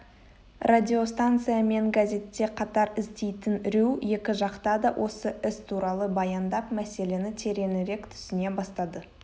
радиостанция мен газетте қатар істейтін рью екі жақта да осы іс туралы баяндап мәселені тереңірек түсіне бастады